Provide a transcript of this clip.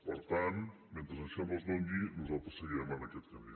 per tant mentre això no es doni nosaltres seguirem en aquest camí